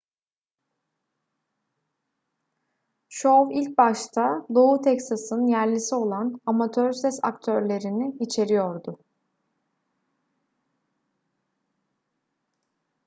şov ilk başta doğu teksas'ın yerlisi olan amatör ses aktörlerini içeriyordu